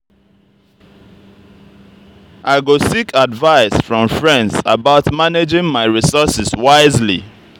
i go seek advice from friends about managing my resources wisely.